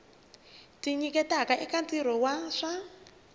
tinyiketaka eka ntirho wa swa